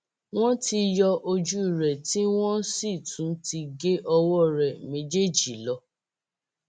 wọn ti yọ ojú rẹ tí wọn sì tún ti gé ọwọ rẹ méjèèjì lọ